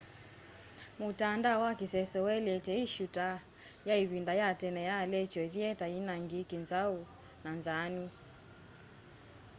mutandao wa kisese ueleetye i shoo ta ya ivinda ya tene ya letio thieta yina ngiki nzau na nzaanu